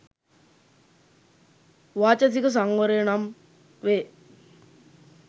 වාචසික සංවරය නම් වේ.